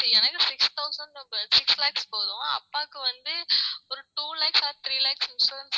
எனக்கு six thousand six lakhs போதும் அப்பாவுக்கு வந்து ஒரு two lakhs or three lakhs insurance